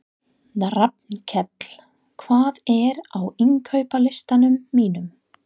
Rafnkell, hvað er á innkaupalistanum mínum?